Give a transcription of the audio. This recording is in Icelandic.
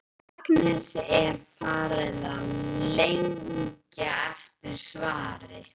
Agnesi er farið að lengja eftir svari.